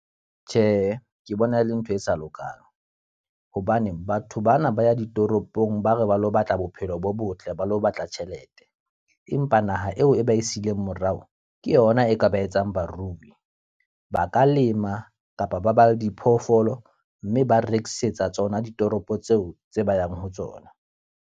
Tjhe, ke bona e le ntho e sa lokang. Hobane batho bana ba ya ditoropong ba re ba lo batla bophelo bo botle ba lo batla tjhelete. Empa naha eo e ba e sileng morao, ke yona e ka ba etsang barui. Ba ka lema kapa ba ba diphoofolo, mme ba rekisetsa tsona ditoropo tseo tse ba yang ho tsona.